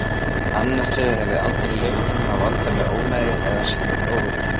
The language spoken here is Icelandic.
Annar þeirra hefði aldrei leyft hinum að valda mér ónæði eða sýna mér óvirðingu.